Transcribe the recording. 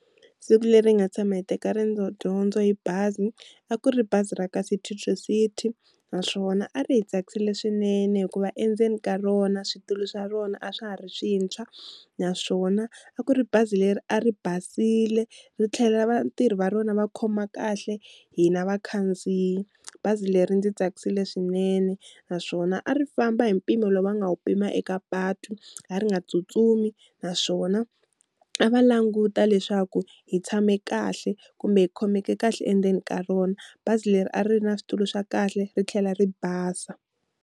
Siku leri hi nga tshama hi teka riendzo dyondzo hi bazi a ku ri bazi ra ka City To City naswona a ri hi tsakisile swinene hikuva endzeni ka rona switulu swa rona a swa ha ri swintshwa, naswona a ku ri bazi leri a ri basile ri tlhelela vatirhi va rona va khoma kahle hina vakhandziyi, bazi leri ri ndzi tsakisile swinene naswona a ri famba hi mpimo lowu va nga wu pima eka patu, a ri nga tsutsumi naswona a va languta leswaku hi tshame kahle kumbe hi khomeke kahle endzeni ka rona, bazi leri a ri na switulu swa kahle ri tlhela ri basa.